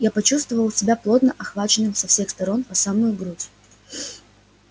и почувствовал себя плотно охваченным со всех сторон по самую грудь